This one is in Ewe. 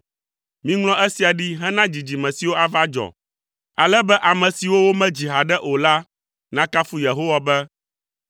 Miŋlɔ esia ɖi hena dzidzime siwo ava dzɔ, ale be ame siwo womedzi haɖe o la nakafu Yehowa be: